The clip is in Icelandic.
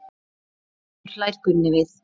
Aftur hlær Gunni við.